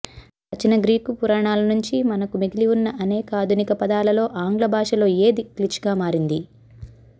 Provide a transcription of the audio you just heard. ప్రాచీన గ్రీకు పురాణాల నుంచి మనకు మిగిలివున్న అనేక ఆధునిక పదాలలో ఆంగ్ల భాషలో ఏది క్లిచ్గా మారింది